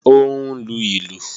Ó ń lu ìlù